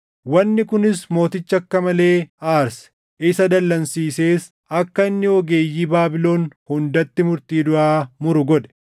Wanni kunis mooticha akka malee aarse; isa dallansiisees akka inni ogeeyyii Baabilon hundatti murtii duʼaa muru godhe.